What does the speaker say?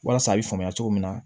Walasa a bɛ faamuya cogo min na